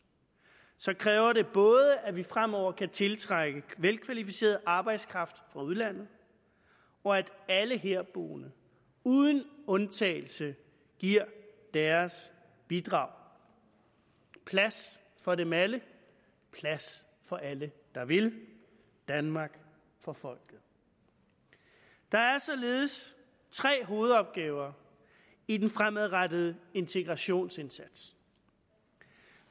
kræver det både at vi fremover kan tiltrække velkvalificeret arbejdskraft fra udlandet og at alle herboende uden undtagelse giver deres bidrag plads for dem alle plads for alle der vil danmark for folket der er således tre hovedopgaver i den fremadrettede integrationsindsats